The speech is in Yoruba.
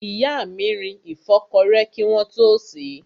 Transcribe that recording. Ìyá mi rin ìfọ́kọrẹ́ kí wọ́n tó sèé.